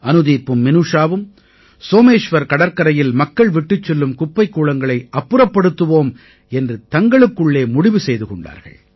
அனுதீப்பும் மினூஷாவும் சோமேஷ்வர் கடற்கரையில் மக்கள் விட்டுச் செல்லும் குப்பைக் கூளங்களை அப்புறப்படுத்துவோம் என்று தங்களுக்குள்ளே முடிவு செய்து கொண்டார்கள்